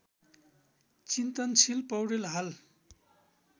चिन्तन्सिल पौडेल हाल